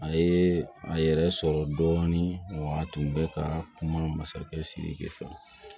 A ye a yɛrɛ sɔrɔ dɔɔnin wa a tun bɛ ka kuma masakɛ siriki fɛ